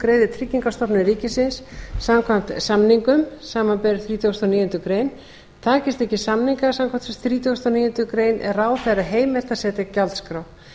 greiðir tryggingastofnun ríkisins samkvæmt samningum samanber þrítugasta og níundu grein takist ekki samningar samkvæmt þrítugustu og níundu grein er ráðherra heimilt að setja gjaldskrá